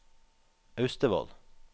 Austevoll